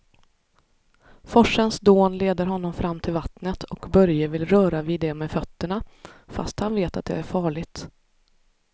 Forsens dån leder honom fram till vattnet och Börje vill röra vid det med fötterna, fast han vet att det är farligt.